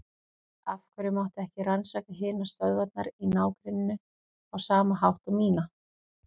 Af hverju mátti ekki rannsaka hinar stöðvarnar í ná- grenninu á sama hátt og mína?